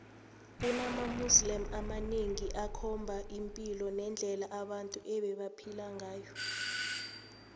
kunama museum amanengi akhomba ipilo nendle abantu ebebaphela ngayo